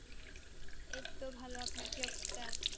এই তো ভালো আপনার কি অবস্থা